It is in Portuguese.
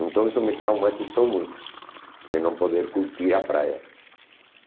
Então isso me traumatizou muito, de não poder curtir a praia.